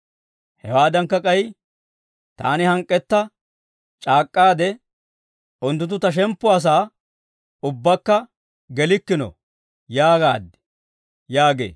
Hewaadankka k'ay, taani hank'k'etta c'aak'k'aade, Unttunttu ta shemppuwaasaa ubbakka gelikkino› yaagaad» yaagee.